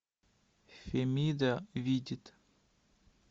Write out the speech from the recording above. фемида видит